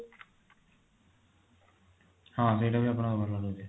ହଁ ସେଇଟା ବି ଆପଣଙ୍କର ଭଲ ରହୁଛି